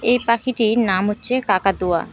এই পাখিটির নাম হচ্ছে কাকাতুয়া।